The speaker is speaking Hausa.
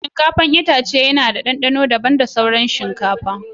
Shinkafa itace yana da dandano daban da ga sauran shinkafa.